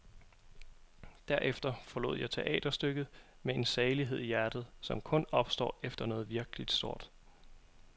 Derefter forlod jeg teaterstykket med en salighed i hjertet, som kun opstår efter noget virkeligt stort.